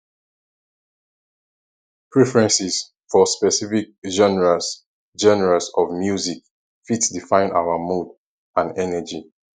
preferences for specific genres genres of music fit define our mood and energy